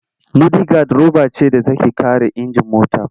Mudigad roba ce da take kare injin mota.